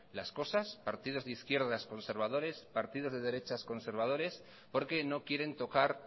las cosas partidos de izquierdas conservadores partidos de derechas conservadores porque no quieren tocar